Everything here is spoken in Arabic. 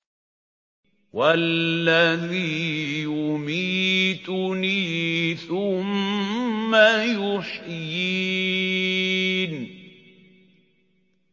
وَالَّذِي يُمِيتُنِي ثُمَّ يُحْيِينِ